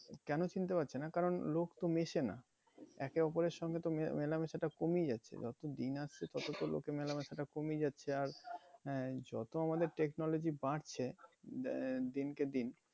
কেন চিনতে পারছে না কারণ লোক তো মেসে না। একে অপরের সঙ্গে তো মেলামেশাটা কমেই গেছে। যত দিন আসছে তত তো লোকের মেলামেশাটা কমে যাচ্ছে আর হ্যাঁ যত আমাদের technology বাড়ছে আহ দিনকে দিন